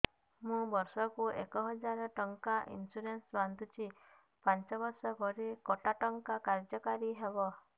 ମୁ ବର୍ଷ କୁ ଏକ ହଜାରେ ଟଙ୍କା ଇନ୍ସୁରେନ୍ସ ବାନ୍ଧୁଛି ପାଞ୍ଚ ବର୍ଷ ପରେ କଟା ଟଙ୍କା କାର୍ଯ୍ୟ କାରି ହେବ